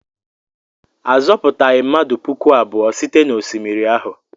A zọpụtaghị mmadụ puku abụọ site n'osimiri ahụ.